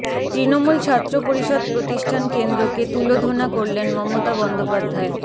তৃমূল ছাত্র পরিষদ প্রতিষ্ঠান কেন্দ্রকে তুলোধোনা করলেন মমতা বন্দোপধ্যায়